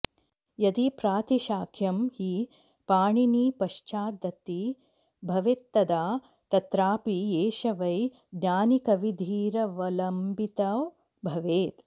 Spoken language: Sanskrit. यदि प्रातिशाख्यं हि पाणिनिपश्चाद्वति भवेत्तदा तत्रापि एष वैज्ञानिकविधिरवलम्बितो भवेत्